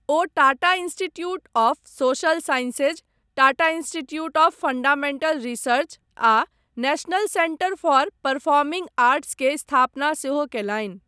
O Tata institute of social sciences, Tata institute of fundamental research आ national centre for performing arts के स्थापना सेहो कयलनि।